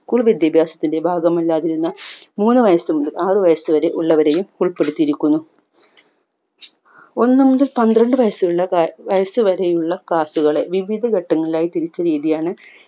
school വിദ്യാഭ്യാസത്തിന്റെ ഭാഗമല്ലാതിരുന്ന മുന്ന്‌ വയസു മുതൽ ആറു വയസുവരെ ഉള്ളവരെയും ഉൾപ്പെടുത്തിയിരിക്കുന്നു ഒന്നു മുതൽ പന്ത്രണ്ട് വയസുള്ള വയസുവരെയുള്ള class കളെ വിവിധ ഘട്ടങ്ങളിലായി തിരിച്ച രീതിയാണ്